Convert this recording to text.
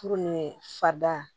Furu ni fada